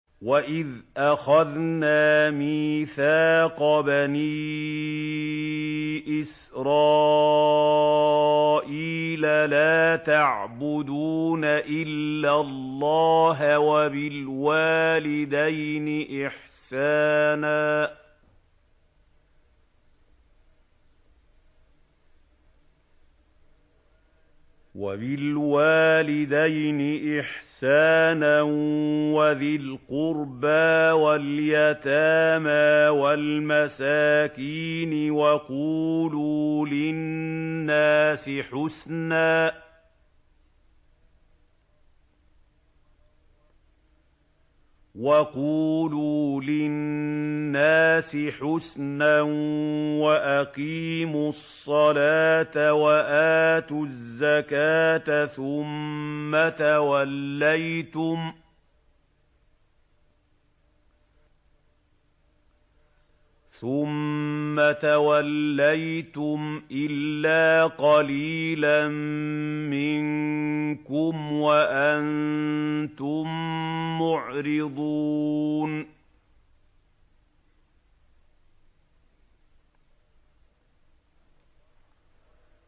وَإِذْ أَخَذْنَا مِيثَاقَ بَنِي إِسْرَائِيلَ لَا تَعْبُدُونَ إِلَّا اللَّهَ وَبِالْوَالِدَيْنِ إِحْسَانًا وَذِي الْقُرْبَىٰ وَالْيَتَامَىٰ وَالْمَسَاكِينِ وَقُولُوا لِلنَّاسِ حُسْنًا وَأَقِيمُوا الصَّلَاةَ وَآتُوا الزَّكَاةَ ثُمَّ تَوَلَّيْتُمْ إِلَّا قَلِيلًا مِّنكُمْ وَأَنتُم مُّعْرِضُونَ